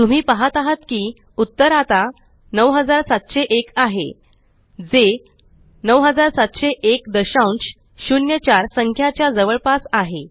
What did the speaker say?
तुम्ही पहात आहात की उत्तर आता 9701 आहे जे 970104 संख्याच्या जवळपास आहे